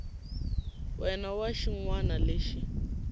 wana na xin wana lexi